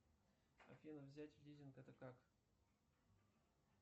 афина взять лизинг это как